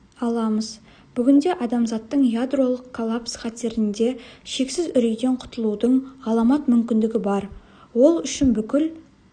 аламыз бүгінде адамзаттың ядролық коллапс қатерінде шексіз үрейден құтылудың ғаламат мүмкіндігі бар ол үшін бүкіл